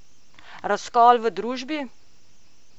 Razkol v družbi?